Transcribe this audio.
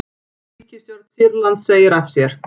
Ríkisstjórn Sýrlands segir af sér